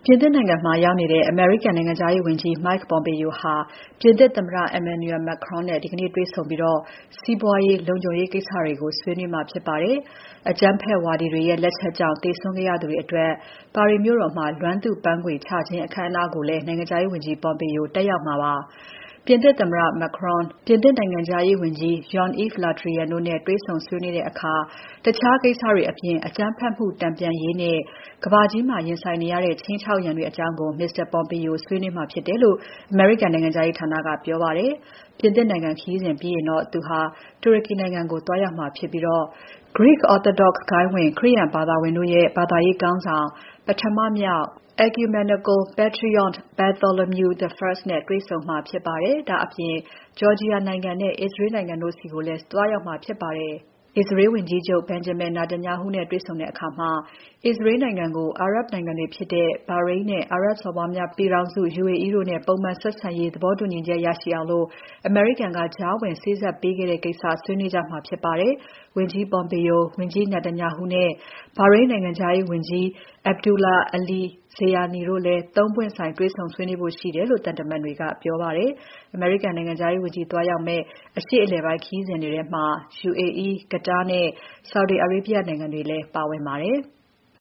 ြင်သစ်နိုင်ငံမှာ ရောက်ရှိနေတဲ့ အမေရိကန်နိုင်ငံခြားရေးဝန်ကြီး Mike Pompeo ဟာ ပြင်သစ်သမ္မတ Emmanuel Macron နဲ့ ဒီနေ့တေ့ွဆုံပြီး စီးပွားရေး၊ လုံခြုံရေးကိစ္စတွေကို ဆွေးနွေးမှာဖြစ်ပါတယ်။ အကြမ်းဖက်ဝါဒီတွေရဲ့ လက်ချက်ကြောင့် သေဆုံးခဲ့ရသူတွေအတွက် ပါရီမြို့တော်မှာ လွမ်းသူ့ပန်းခွေချခြင်း အခမ်းအနားကိုလည်း နိုင်ငံခြားရေးဝန်ကြီး Pompeo တက်ရောက်မှာဖြစ်ပါတယ်။ ပြင်သစ်သမ္မတ Macron၊ ပြင်သစ်နိုင်ငံခြားရေးဝန်ကြီး Jean-Yves Le Drian တို့နဲ့ တွေ့ဆုံဆွေးနွေးတဲ့အခါ တခြားကိစ္စတွေအပြင် အကြမ်းဖက်မှု တန်ပြန်ရေးနဲ့ ကမ္ဘာကြီးမှာ ရင်ဆိုင်နေရတဲ့ ခြိမ်းခြောက်ရန်တွေအကြောင်းကိုလည်း Mr. Pompeo ဆွေးနွေးမှာဖြစ်တယ်လို့ အမေရိကန်နိုင်ငံခြားရေးဌာက ပြောပါတယ်။ ပြင်သစ်နိုင်ငံခရီးစဉ်ပြီးရင် သူဟာ တူရကီနိုင်ငံကို သွားရောက်မှာဖြစ်ပြီး Greek Orthodox ဂိုဏ်းဝင်ခရိယာန်ဘာသာဝင်တို့ရဲ့ ဘာသာရေးခေါင်းဆောင် ပထမမြောက် Ecumenical Patriarch Bartholomew I နဲ့တွေ့ဆုံမှာဖြစ်ပါတယ်။ ဒါအပြင် Georgia နိုင်ငံနဲ့ Israel နိုင်ငံတို့ဆီကိုလည်း သွားရောက်မှာဖြစ်ပါတယ်။ အစ္စရေးဝန်ကြီးချုပ် Benjamin Netanyahu နဲ့တွေ့ဆုံတဲ့အခါ Israel နိုင်ငံကို အာရပ်နိုင်ငံတွေဖြစ်တဲ့ Bahrain နဲ့ အာရပ်စော်ဘွားများ ပြည်ထောင်စု UAE တို့ကြား ပုံမှန်ဆက်ဆံရေး သဘောတူညီချက် ရရှိအောင် အမေရိကန်ကြားဝင် စေ့စပ်ပေးထားတဲ့ကိစ္စကို ဆွေးနွေးမယ်ကြမှာဖြစ်ပါတယ်။ ဝန်ကြီး Pompeo၊ ဝန်ကြီးချုပ် Netanyahu နဲ့ Bahrain နိုင်ငံခြားရေးဝန်ကြီး Abdullatif Al-Zayani တို့နဲ့လည်း ၃ ပွင့်ဆိုင် တွေ့ဆုံဖို့ရှိတယ်လို့ သံတမန်တွေက ပြောပါတယ်။ အမေရိကန်နိုင်ငံခြားရေးဝန်ကြီးသွားရောက်မယ့် အရှေ့အလယ်ပိုင်း ခရီးစဉ်ထဲမှာ UAE၊ Qatar နဲ့ Saudi Arabia နိုင်ငံတွေလည်း ပါဝင်ပါတယ်။